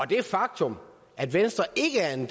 det faktum at venstre ikke er en